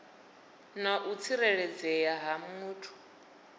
na u tsireledzea ha muthu